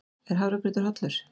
Er hafragrautur hollur?